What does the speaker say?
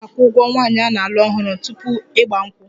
Ee, a na-akwụ ụgwọ nwaanyị a na-alụ ọhụrụ tupu 'Igba nkwu'